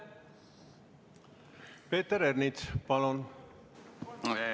Peeter Ernits, palun!